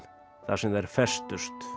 þar sem þær festust